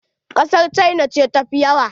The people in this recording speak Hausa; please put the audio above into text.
Ƙasar cina ce tafi yawa.